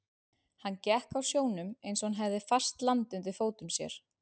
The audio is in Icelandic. Hann gekk á sjónum eins og hann hefði fast land undir fótum.